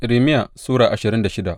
Irmiya Sura ashirin da shida